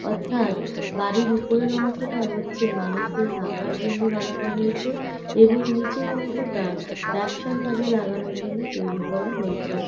অর্থাৎ বাড়ির উপরের অংশটা হচ্ছে মানুষদের থাকার জন্যে বানানো হয়েছে এবং নিচের অংশটা ব্যবসার কাজে লাগানোর জন্য তৈরি করা হয়েছে।